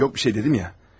Heç nə yoxdur dedim axı.